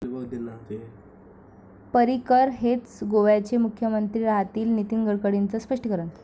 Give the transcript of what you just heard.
पर्रिकर हेच गोव्याचे मुख्यमंत्री राहतील', नितीन गडकरींचं स्पष्टीकरण